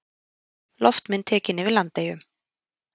Loftmynd tekin yfir Landeyjum.